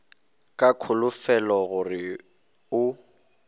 ka kholofelo ya gore o